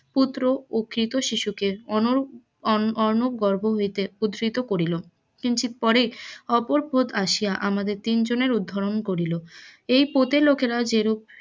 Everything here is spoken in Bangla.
পুত্র ও ক্ষুধিত শিশুকে অন্য অন্য গর্ভ হইতে করিল কিঞ্চিত পরেই অপর আসিয়া আমাদের তিন জনের উদ্ধরণ করিল এই প্রদের লোকেরা যেরম